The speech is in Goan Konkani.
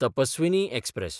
तपस्विनी एक्सप्रॅस